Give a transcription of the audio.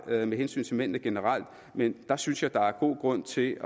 med hensyn til mændene generelt men der synes jeg der er god grund til